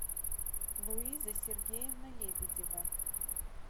луиза сергеевна лебедева